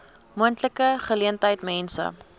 moontlike geleentheid mense